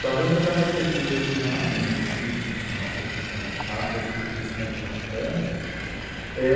Talvez até você diga assim, ''ah mas que, nossa que, você acha que isso foi impactante?'' Eh